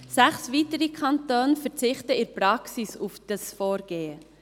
Sechs weitere Kantone verzichten in der Praxis auf dieses Vorgehen.